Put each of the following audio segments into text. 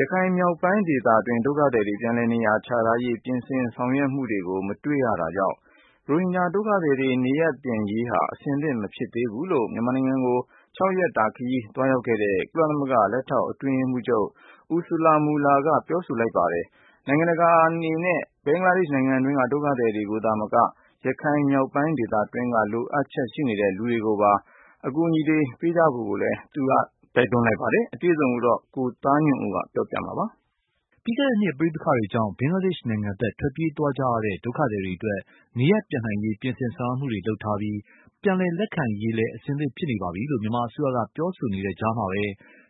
ရခိုင်မြောက်ပိုင်းဒေသတွင်း ဒုက္ခသည်တွေပြန်လည်နေရာချထားရေး ပြင်ဆင်ဆောင်ရွက်မှုတွေကို မတွေ့ရတာကြောင့်၊ ရိုဟင်ဂျာဒုက္ခသည်တွေ နေရပ်ပြန်ရေးဟာ အဆင်သင့်မဖြစ်သေးဘူးလို့ မြန်မာနိုင်ငံကို ၆ ရက်တာ ခရီးသွားရောက်ခဲ့တဲ့ ကုလသမဂ္ဂ လက်ထောက်အတွင်းရေးမှုးချုပ် Ursula Mueller က ပြောဆိုလိုက်ပါတယ်။ နိုင်ငံတကာအနေနဲ့ ဘင်္ဂလားဒေ့ရ်ှနိုင်ငံတွင်းက ဒုက္ခသည်တွေကိုသာမက ရခိုင်မြောက်ပိုင်းဒေသတွင်းမှာရှိနေတဲ့ လိုအပ်ချက်ရှိနေတဲ့လူတွေအတွက်ပါ အကူအညီတွေ ပေးကြဖို့ကိုလည်း သူက တိုက်တွန်းသွားပါတယ်။ အပြည့်အစုံကို ကိုသားညွန့်ဦးက ပြောပြမှာပါ။ ပြီးခဲ့တဲ့နှစ် ပဋိပက္ခတွေကြောင့် ဘင်္ဂလားဒေ့ရ်ှနိုင်ငံဖက် ထွက်ပြေးသွားကြရတဲ့ ဒုက္ခသည်တွေ နေရပ်ပြန်နိုင်ရေး ပြင်ဆင်ဆောင်ရွက်မှုတွေ လုပ်ထားပြီး ပြန်လည်လက်ခံရေး အဆင်သင့်ဖြစ်နေပါပြီလို့ မြန်မာအစိုးရက ပြောဆိုနေတဲ့ကြားမှာပဲ၊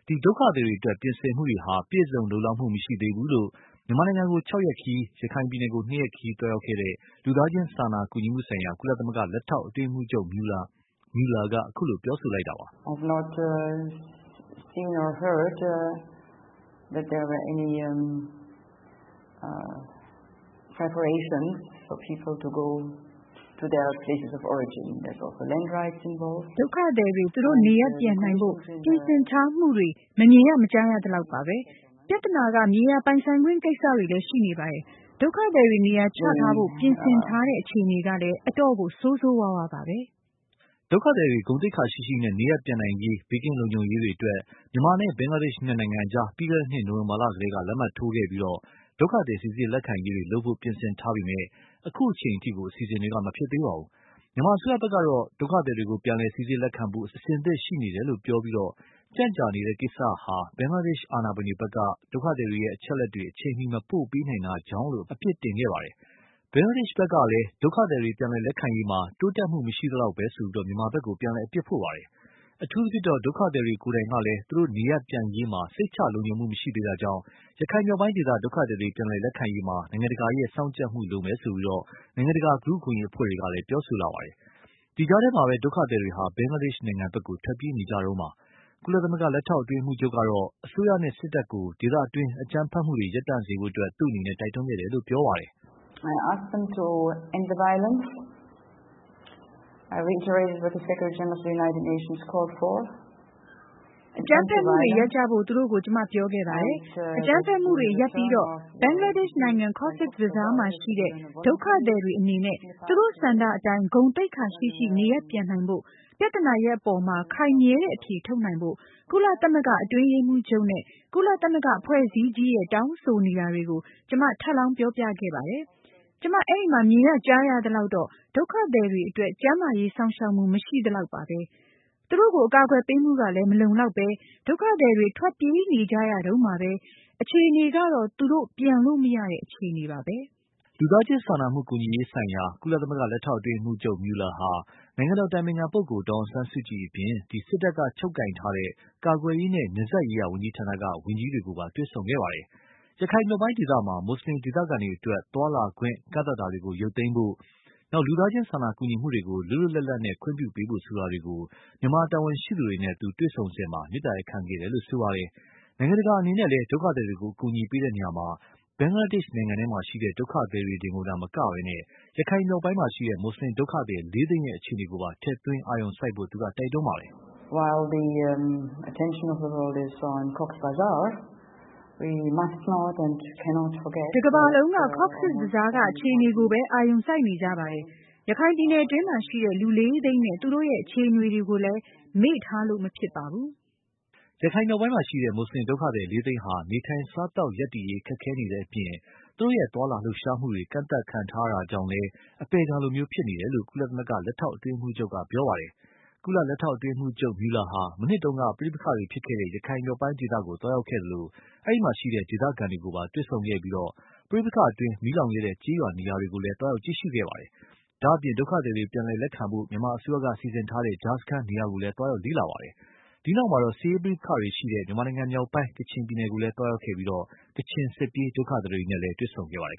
ဒီ ဒုက္ခသည်တွေအတွက် ပြင်ဆင်မှုတွေဟာ ပြည့်စုံလုံလောက်မှုမရှိသေးဘူးလို့ မြန်မာနိုင်ငံကို ၆ ရက်ခရီး ရခိုင်ပြည်နယ်ကို နှစ်ရက်ခရီးသွားရောက်ခဲ့တဲ့ လူသားချင်းစာနာကူညီမှုဆိုင်ရာ ကုလသမဂ္ဂ လက်ထောက်အတွင်းရေးမှုးချုပ် Mueller က အခုလို ပြောဆိုလိုက်တာပါ။ “ဒုက္ခသည်တွေ သူတို့ နေရပ်ပြန်နိုင်ဖို့ ပြင်ဆင်ထားမှုတွေ မမြင်ရ မကြားရသလောက်ပါပဲ။ ပြဿနာက မြေယာပိုင်ဆိုင်ခွင့်ကိစ္စတွေလည်း ရှိနေပါတယ်။ ဒုက္ခသည်တွေ နေရာချထားဖို့ ပြင်ဆင်ထားတဲ့အခြေအနေကလည်း အတော့်ကို ဆိုးဆိုဝါးဝါးပါပဲ။” ဒုက္ခသည်တွေ ဂုဏ်သိက္ခာရှိရှိနဲ့ နေရပ်ပြန်နိုင်ရေး ဘေးကင်းလုံခြုံရေးတွေအတွက် မြန်မာနဲ့ ဘင်္ဂလားဒေ့ရ်ှ နှစ်နိုင်ငံအကြား ပြီးခဲ့တဲ့နှစ် နိုဝင်ဘာလကတည်းက လက်မှတ်ထိုးခဲ့ပြီး ဒုက္ခသည်စီစစ်လက်ခံရေးတွေ လုပ်ဖို့ ပြင်ဆင်ထားပေမယ့်၊ အခုအချိန်အထိ အစီအစဉ်တွေ မဖြစ်သေးပါဘူး။ မြန်မာအစိုးရဖက်ကတော့ ဒုက္ခသည်တွေကို ပြန်လည်စီစစ်လက်ခံဖို့ အဆင်သင့်ရှိနေတယ်လို့ ပြောပြီး၊ ကြန့်ကြာနေတဲ့ကိစ္စဟာ ဘင်္ဂလားဒေရ်ှအာဏာပိုင်တွေဖက်က ဒုက္ခသည်တွေအချက်အလက်တွေ အချိန်မီ မပို့ပေးနိုင်တာကြောင့်လို့ အပြစ်တင်ခဲ့ပါတယ်။ ဘင်္ဂလားဒေ့ရ်ှဖက်ကလည်း ဒုက္ခသည်တွေပြန်လည်လက်ခံရေးမှာ တိုးတက်မှုမရှိသလောက်ပဲဆိုပြီး မြန်မာဖက်ကို ပြန်လည် အပြစ်တင်ထားပါတယ်။ အထူးသဖြင့်တော့ ဒုက္ခသည်တွေကိုယ်တိုင်ကလည်း သူတို့နေရပ်ပြန်ရေးမှာ စိတ်ချလုံခြုံမှုမရှိသေးတာကြောင့်၊ ရခိုင်မြောက်ပိုင်းဒေသ ဒုက္ခသည်တွေပြန်လည်လက်ခံရေးမှာ နိုင်ငံတကာက စောင့်ကြပ်မှုလိုမယ်လို့ နိုင်ငံတကာလူ့အခွင့်အရေးအဖွဲ့တွေကလည်း ပြောဆိုလာပါတယ်။ ဒီကြားထဲမှာ ဒုက္ခသည်တွေဟာ ဘင်္ဂလားဒေ့ရ်ှဖက်ကို ထွက်နေကြတုန်းပါ။ ကုလ လက်ထောက်အတွင်းရေးမှုးချုပ်ကတော့ အစိုးရနဲ့ စစ်တပ်ကို ဒေသတွင်းမှာ အကြမ်းဖက်မှုတွေကို ရပ်တန့်စေဖို့ သူ တိုက်တွန်းခဲ့တယ်လို့ ပြောပါတယ်။ “အကြမ်းဖက်မှုတွေ ရပ်ကြဖို့ သူတို့ကို ကျမ ပြောခဲ့ပါတယ်။ အကြမ်းဖက်မှုတွေရပ်ပြီးတော့ ဘင်္ဂလားဒေ့ရ်ှနိုင်ငံ Cox’ Bazar မှာရှိတဲ့ ဒုက္ခသည်တွေအနေနဲ့ သူတို့ဆန္ဒအတိုင်း ဂုဏ်သိက္ခာရှိရှိ နေရပ်ပြန်နိုင်ဖို့၊ ပြဿနာရပ်အပေါ်မှာ ခိုင်မြဲတဲ့အဖြေထုတ်နိုင်ဖို့ ကုလသမဂ္ဂအတွင်းရေးမှုးချုပ်နဲ့ ကုလသမဂ္ဂအဖွဲ့အစည်းကြီးရဲ့ တောင်းဆိုနေတာတွေကို ကျမ ထပ်လောင်း ပြောပြခဲ့ပါတယ်။ ကျမ အဲဒီမှာ မြင်ရ ကြားရသလောက်တော့ ဒုက္ခသည်တွေအတွက် ကျန်းမာရေးစောင့်ရှောက်မှု မရှိသလောက်ပါပဲ။ သူတို့ကို အကာအကွယ်ပေးမှုကလည်း မလုံလောက်ပဲ ဒုက္ခသည်တွေ ထွက်ပြေးနေကြရတုန်းပါပဲ။ အခြေအနေကတော့ သူတို့ ပြန်လို့ မရတဲ့ အခြေအနေပါပဲ။” လူသားချင်းစာနာကူညီမှုဆိုင်ရာ ကုလ လက်ထောက်အတွင်းရေးမှုးချုပ် Mueller ဟာ နိုင်ငံတော်အတိုင်ပင်ခံပုဂ္ဂိုလ် ဒေါ်အောင်ဆန်းစုကြည်အပြင် စစ်တပ်ကချုပ်ကိုင်ထားတဲ့ ကာကွယ်ရေးနဲ့ နယ်စပ်ရေးရာဝန်ကြီးဌာနက ဝန်ကြီးတွေကိုပါ တွေ့ဆုံခဲ့ပါတယ်။ ရခိုင်မြောက်ပိုင်းဒေသမှာ မွတ်ဆလင်ဒေသခံတွေအတွက် သွားလာခွင့် ကန့်သတ်တာတွေကို ရုပ်သိမ်းဖို့၊ လူသားချင်းစာနာကူညီမှုတွေကို လွတ်လွတ်လပ်လပ် ခွင့်ပြုပေးဖို့ဆိုတာတွေကို မြန်မာတာဝန်ရှိသူတွေနဲ့ တွေ့စဉ် သူ့အနေနဲ့ မေတ္တာရပ်ခံခဲ့တယ်လို့ ပြောပါတယ်။ နိုင်ငံတကာအနေနဲ့လည်း ဒုက္ခသည်တွေကို အကူအညီပေးရာမှာ ဘင်္ဂလားဒေ့ရ်ှနိုင်ငံထဲမှာရှိတဲ့ ဒုက္ခသည်တွေတင်ကိုသာ မကပဲ၊ ရခိုင်မြောက်ပိုင်းမှာရှိတဲ့ မွတ်ဆလင်ဒုက္ခသည်း လေးသိန်းရဲ့ အခြေအနေကိုပါ ထည့်သွင်း အာရုံစိုက်ဖို့ သူက တိုက်တွန်းသွားပါတယ်။ “တကမ္ဘာလုံးက Coz’s Bazar က အခြေအနေကိုပဲ အာရုံစိုက်နေကြပါတယ်။ ရခိုင်ပြည်နယ်အတွင်းမှာရှိတဲ့ လူ လေးသိန်းနဲ့ သူတို့ရဲ့ အခြေအနေတွေကိုလည်း မေ့ထားလို့မဖြစ်ပါဘူး။” ရခိုင်မြောက်ပိုင်းမှာရှိတဲ့ မွတ်ဆလင်ဒုက္ခသည် လေးသိန်းဟာ နေထိုင်စားသောက်ရပ်တည်ရေး ခက်ခဲနေတဲ့အပြင်၊ သူတို့သွားလာလှုပ်ရှားမှုတွေ ကန့်သတ်ခံထားရတာကြောင့်လည်း အပယ်ခံလိုဖြစ်နေတယ်လို့ ကုလ လက်ထောက်အတွင်းရေးမှုးချုပ်က ပြောပါတယ်။ ကုလ လက်ထောက်အတွင်းရေးမှုးချုပ် Mueller ဟာ မနှစ်က ပဋိပက္ခတွေဖြစ်ခဲ့တဲ့ ရခိုင်မြောက်ပိုင်းဒေသကို သွားရောက်ခဲ့ပြီး၊ အဲဒီမှာရှိတဲ့ ဒေသခံတွေကို တွေ့ဆုံခဲ့သလို ပဋိပက္ခအတွင်း မီးလောင်ခဲ့တဲ့ ကျေးရွာနေရာတွေကိုလည်း သွားရောက်ကြည့်ရှုခဲ့ပါတယ်။ ဒါ့အပြင် ဒုက္ခသည်တွေ ပြန်လည်လက်ခံဖို့ မြန်မာအစိုးရက စီစဉ်ထားတဲ့ ကြားစခန်းနေရာကိုလည်း သွားရောက်လေ့လာခဲ့ပါတယ်။ ဒီနောက် စစ်ရေးပဋိပက္ခတွေရှိနေတဲ့ ကချင်ပြည်နယ်ကိုလည်းသွားရောက်ခဲ့ပြီး ကချင်စစ်ပြေးဒုက္ခသည်တွေကိုလည်း တွေ့ဆုံခဲ့ပါတယ်